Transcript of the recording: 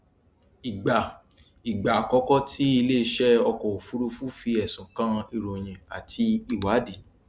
ìgbà ìgbà àkọkọ tí iléiṣẹ ọkọ òfurufú fí ẹsùn kàn ìròyìn àti ìwádìí